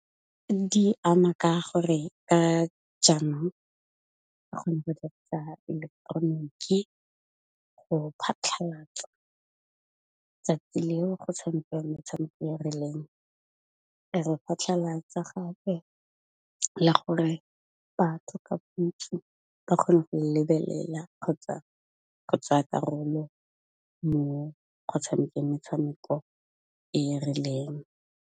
Di ama ka gore ka jaanong eleketeroniki go phatlhalatsa tsatsi leo go tshamekang metshameko e rileng. Re phatlhalatsa gape le gore batho ka bontsi ba kgone go e lebelela kgotsa go tsaya karolo mo go tshamekang metshameko e rileng.